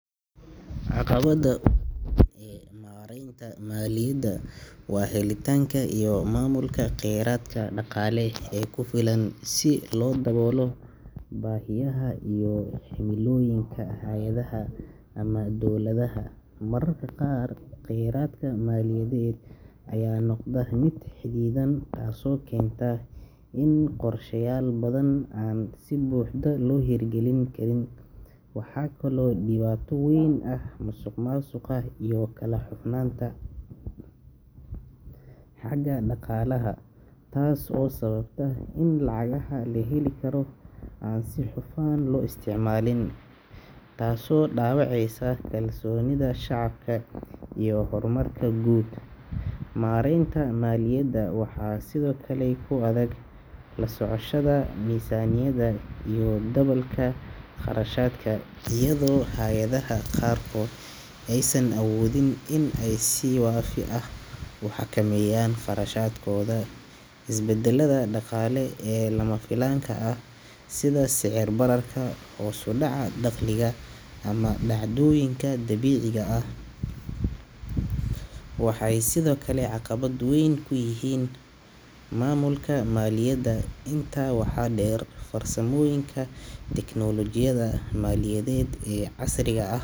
Caqabada ugu weyn ee maareynta maaliyada waa helitaanka iyo maamulka kheyraadka dhaqaale ee ku filan si loo daboolo baahiyaha iyo himilooyinka hay’adaha ama dowladaha. Mararka qaar, kheyraadka maaliyadeed ayaa noqda mid xadidan taasoo keenta in qorsheyaal badan aan si buuxda loo hirgelin karin. Waxaa kaloo dhibaato weyn ah musuqmaasuqa iyo kala hufnaanta xagga dhaqaalaha, taas oo sababta in lacagaha la heli karo aan si hufan loo isticmaalin, taas oo dhaawacaysa kalsoonida shacabka iyo horumarka guud. Maareynta maaliyadda waxaa sidoo kale ku adag la socoshada miisaaniyadda iyo dabagalka kharashaadka, iyadoo hay’adaha qaarkood aysan awoodin inay si waafi ah u xakameeyaan qarashkooda. Isbedelada dhaqaale ee lama filaanka ah sida sicir bararka, hoos u dhaca dakhliga, ama dhacdooyinka dabiiciga ah waxay sidoo kale caqabad weyn ku yihiin maamulka maaliyadda. Intaa waxaa dheer, farsamooyinka tiknoolojiyadda maaliyadeed ee casriga ah.